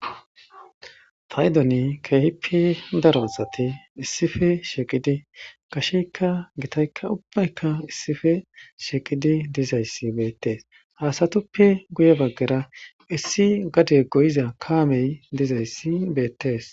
Paydoni keehippe daro asati issife shiiqidi gasheykka gitaykka ubbaykka issife shiiqidi dizayssi beettees haasatuppe guye baggera issi gade goyiza kaamey dizayssi beettees